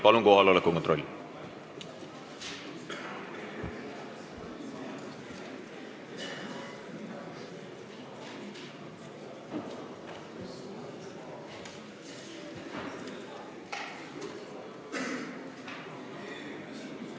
Palun, kohaloleku kontroll!